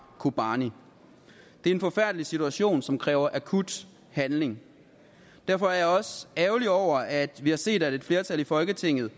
kobani det er en forfærdelig situation som kræver akut handling derfor er jeg også ærgerlig over at vi har set at et flertal i folketinget